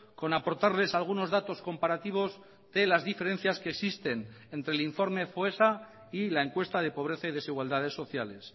con aportarles algunos datos comparativos de las diferencias que existen entre el informe foessa y la encuesta de pobreza y desigualdades sociales